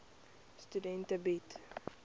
studente bied